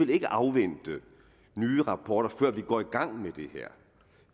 vil afvente nye rapporter før vi går i gang med det her